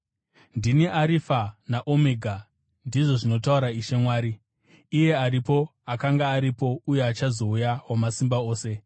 “Ndini Arifa naOmega,” ndizvo zvinotaura Ishe Mwari, “iye aripo, akanga aripo, uye achazouya, Wamasimba Ose.”